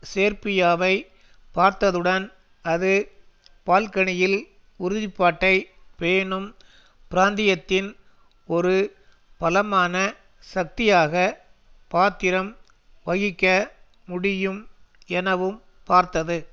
சேர்பியாவை பார்த்ததுடன் அது பால்கனில் உறுதி பாட்டை பேணும் பிராந்தியத்தியத்தின் ஒரு பலமான சக்தியாக பாத்திரம் வகிக்க முடியும் எனவும் பார்த்தது